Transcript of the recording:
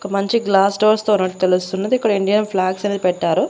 ఒక మంచి glass doors తో ఉన్నట్టు తెలుస్తున్నది ఇక్కడ ఇండియన్ ఫ్లాగ్స్ అనేది పెట్టారు.